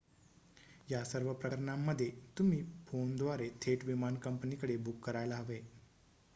या सर्व प्रकरणांमध्ये तुम्ही फोनद्वारे थेट विमान कंपनीकडे बुक करायला हवे